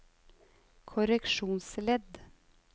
korreksjonsledd